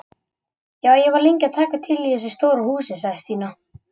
Já, ég var lengi að taka til í þessu stóra húsi sagði Stína.